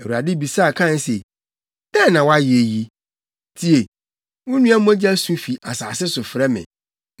Awurade bisaa Kain se, “Dɛn na woayɛ yi? Tie! Wo nua mogya su fi asase so frɛ me.